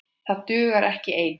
Það dugar ekki ein!